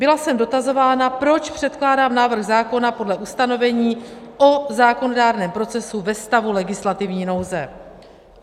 Byla jsem dotazována, proč předkládám návrh zákona podle ustanovení o zákonodárném procesu ve stavu legislativní nouze.